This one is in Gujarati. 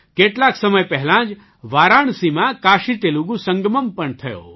કેટલાક સમય પહેલાં જ વારાણસીમાં કાશીતેલુગુ સંગમમ્ પણ થયો